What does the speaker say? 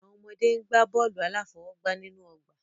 Àwọn ọmọdé ń gbá bọ́ọ̀lù aláfọwọ́gbá nínú ọgbà.